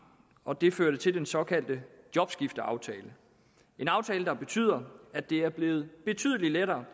og det førte til den såkaldte jobskifteaftale en aftale der betyder at det er blevet betydelig lettere